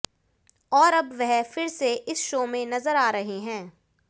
और अब वह फिर से इस शो में नजर आ रहे हैं